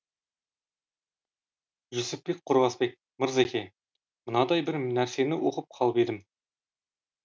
жүсіпбек қорғасбек мырзеке мынандай бір нәрсені оқып қалып едім